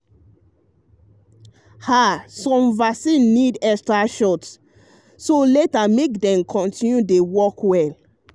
ah some vaccine need extra shot (booster) later to make dem continue dey work well. um